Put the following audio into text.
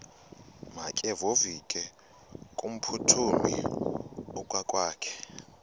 makevovike kumphuthumi okokwakhe